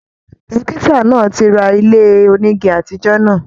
Dọ́kítà náà tí rà ilé onígí àtijọ náà.